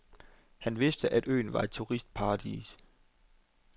Han vidste, at øen var et turistparadis.